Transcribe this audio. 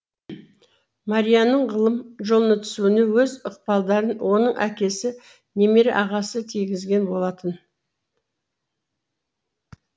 марияның ғылым жолына түсуіне өз ықпалдарын оның әкесі немере ағасы тигізген болатын